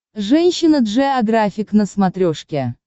женщина джеографик на смотрешке